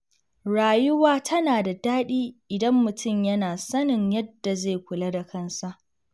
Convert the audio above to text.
Rayuwa tana da daɗi idan mutum yana sanin yadda zai kula da kansa.